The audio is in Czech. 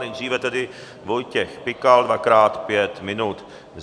Nejdříve tedy Vojtěch Pikal - dvakrát pět minut.